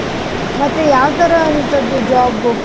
ಮತ್ತೆ ಯಾವ್ ತರ ಅಂತದ್ದು job .